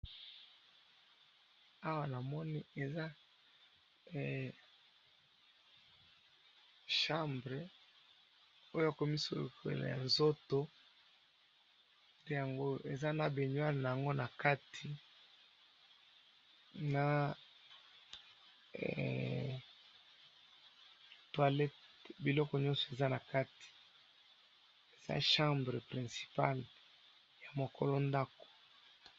Awa namoni eza chambre, oyo yakomisokola nzoto ,eza na begnoire nango na kati ,na toilette biloko nionso eza na kati eza chambre principale ya mukolo ndako